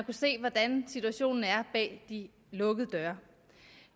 se hvordan situationen er bag de lukkede døre